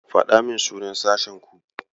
Faɗa min sunan sashenku.